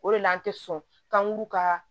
O de la an tɛ sɔn k'an k'u ka